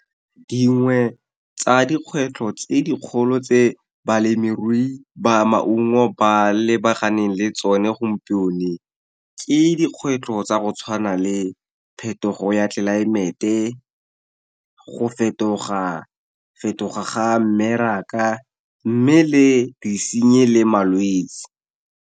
Dingwe tsa dikgwetlho tse dikgolo tse balemirui ba maungo ba lebaganeng le tsone , ke dikgwetlho tsa go tshwana le phetogo ya tlelaemete, go fetoga-fetoga ga mmeraka, mme le disenyi le malwetse.